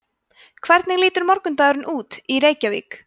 hvernig lítur morgundagurinn út í reykjavík